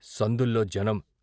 సందుల్లో జనం.